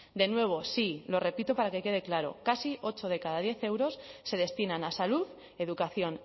de nuevo sí lo repito para que quede claro casi ocho de cada diez euros se destinan a salud educación